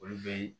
Olu be